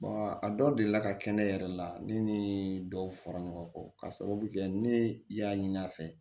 a dɔw delila ka kɛ ne yɛrɛ la ne ni dɔw fɔra ɲɔgɔn kɔ ka sababu kɛ ne y'a ɲini a fɛ